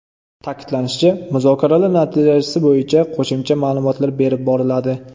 Ta’kidlanishicha, muzokaralar natijasi bo‘yicha qo‘shimcha ma’lumotlar berib boriladi.